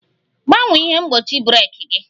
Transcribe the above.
Gbanwee ihe mgbochi breeki gi!